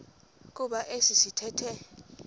kuba esi sithethe